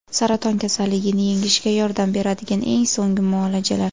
Saraton kasalligini yengishga yordam beradigan eng so‘nggi muolajalar.